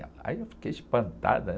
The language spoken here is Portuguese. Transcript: Aí eu fiquei espantada, ãh..